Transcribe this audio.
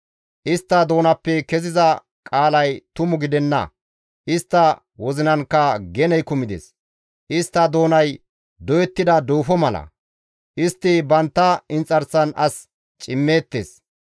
Istta doonappe keziza qaalay tumu gidenna. Istta wozinankka geney kumides; istta doonay doyettida duufo mala; istti bantta inxarsan as cimmeettes.